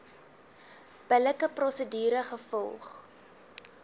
billike prosedure gevolg